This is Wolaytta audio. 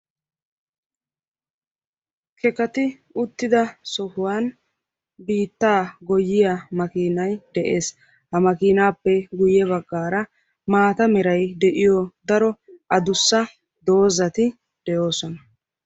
Kekkati uttida sohuwwan biittaa goyyiyaa makinaay de'ees; ha makinappe guyye baggara maata meray de'iyo daro addussa doozati de'oosona.